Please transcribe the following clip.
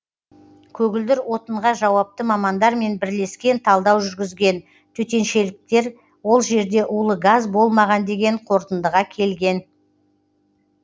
көгілдір отынға жауапты мамандармен бірлескен талдау жүргізген төтеншеліктер ол жерде улы газ болмаған деген қорытындыға келген